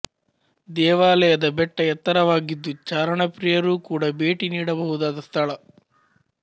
ದೇವಾಲಯದ ಬೆಟ್ಟ ಎತ್ತರವಾಗಿದ್ದು ಚಾರಣಪ್ರಿಯರೂ ಕೂಡ ಭೇಟಿ ನೀಡಬಹುದಾದ ಸ್ಥಳ